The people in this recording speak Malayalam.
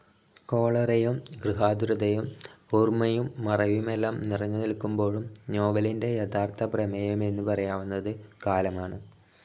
കോളറയും ഗൃഹാതുരതയും ഓർമ്മയും മറവിയുമെല്ലാം നിറഞ്ഞു നിൽക്കുമ്പോഴും നോവലിന്റെ യഥാർത്ഥ പ്രമേയമെന്നു പറയാവുന്നത് കാലമാണ്.